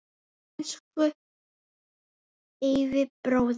Elsku Eyvi bróðir.